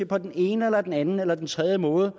på den ene eller den anden eller den tredje måde